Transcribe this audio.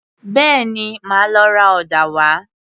Bẹ́ẹ̀ni, màá lọ ra ọ̀dà wá